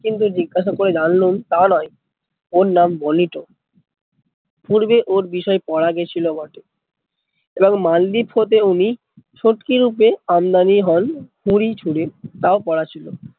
কিন্তু জিজ্ঞাসা করে জানলুম তা নয়, ওর নাম বোনিটো পূর্বে ওর বিষয় পড়া গেছিলো বটে, এবং মালদ্বীপ হতে উনি শুটকি রূপে আমদানি হন ঝুড়ি ঝুড়ি তা ও